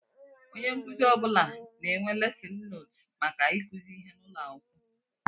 Ónyé nkụzi ọbula na-enwe lesin nóótu màkà ikuzi ihe n'ụlọakwụkwọ.